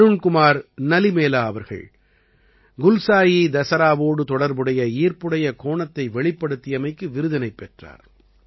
அருண்குமார் நலிமேலா அவர்கள் குல்சாயி தசராவோடு தொடர்புடைய ஈர்ப்புடைய கோணத்தை வெளிப்படுத்தியமைக்கு விருதினைப் பெற்றார்